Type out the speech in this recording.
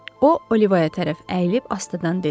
O, Oliva tərəf əyilib astadan dedi.